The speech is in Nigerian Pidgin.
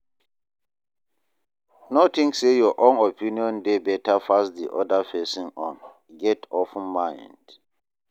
No think sey your own opinion dey better pass di oda person own, get open mind